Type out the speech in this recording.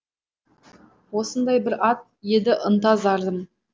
осындай бір ат еді ынта зарым